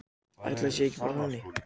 Ætli það sé ekki bara þannig.